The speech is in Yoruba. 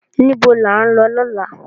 Nibó lá n lò lòlá?